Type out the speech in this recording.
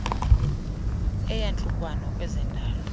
eyantlukwano kweze ndalo